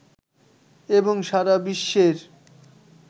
এবং সারা বিশ্বের